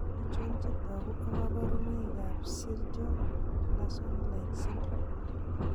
Achon chetogu ak kaborunoik ab Sjorgen Larsson like syndrome?